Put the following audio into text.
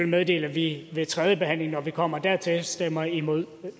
meddele at vi ved tredjebehandlingen når vi kommer dertil stemmer imod